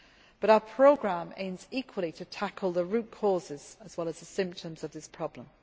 But our programme aims equally to tackle the root causes as well as the symptoms of this problem.